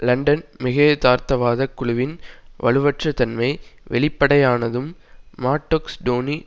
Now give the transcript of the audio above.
London மிகையதார்த்தவாதக் குழுவின் வலுவற்றதன்மை வெளிப்படையானதும் மாட்டொக்ஸ் டோனி